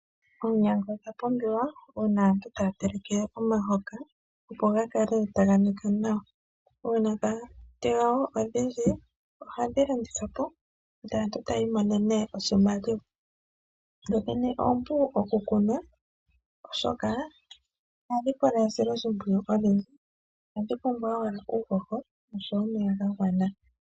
Oonyanga odha pumbiwa uuna aantu taya teleke omahoka opo gakale taga nika nawa. Uuna dha tewa wo odhindji ohadhi landithwa po ndele aantu taya imonene oshimaliwa. Dho dhene oompu oku kuna oshoka ihadhi pula esiloshimpiyu olindji , ohadhi pumbwa owala uuhoho.